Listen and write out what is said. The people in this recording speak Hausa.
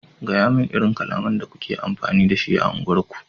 gayamun irin kalamai da kuke amfani da shi a unguwar ku!